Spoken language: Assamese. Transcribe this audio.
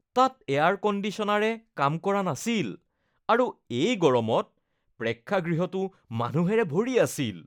তাত এয়াৰ কণ্ডিচনাৰে কাম কৰা নাছিল আৰু এই গৰমত প্ৰেক্ষাগৃহটো মানুহেৰে ভৰি আছিল।